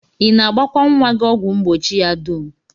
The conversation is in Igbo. I na-agbakwa nnwa gị ọgwụ mgbochi ya dum?